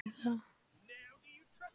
Á Suðurlandi eru hálkublettir víða